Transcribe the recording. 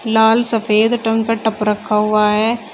लाल सफेद टं का टप रखा हुआ है।